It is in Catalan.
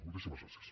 moltíssimes gràcies